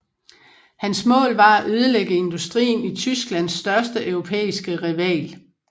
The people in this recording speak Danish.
Hans mål var at ødelægge industrien i Tysklands største europæiske rival